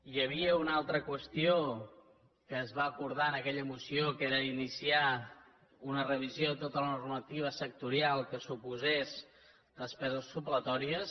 hi havia una altra qüestió que es va abordar en aquella moció que era iniciar una revisió de tota la normativa sectorial que suposés despeses supletòries